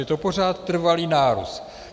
Je to pořád trvalý nárůst.